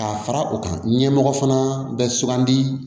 Ka fara u kan ɲɛmɔgɔ fana bɛ sugandi